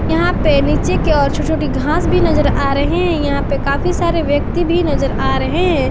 यहां पे नीचे के ओर छोटी छोटी घास भी नजर आ रहे हैं यहां पे काफी सारे व्यक्ति भी नजर आ रहे हैं।